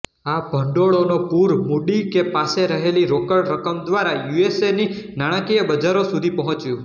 આ ભંડોળોનો પૂર મૂડી કે પાસે રહેલી રોકડ રકમ દ્વારા યુએસએની નાણાંકીય બજારો સુધી પહોંચ્યું